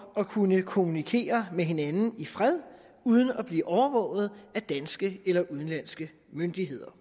at kunne kommunikere med hinanden i fred uden at blive overvåget af danske eller udenlandske myndigheder